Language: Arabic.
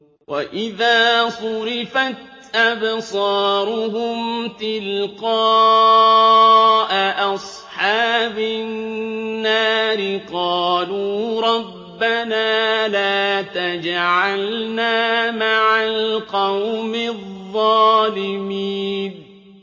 ۞ وَإِذَا صُرِفَتْ أَبْصَارُهُمْ تِلْقَاءَ أَصْحَابِ النَّارِ قَالُوا رَبَّنَا لَا تَجْعَلْنَا مَعَ الْقَوْمِ الظَّالِمِينَ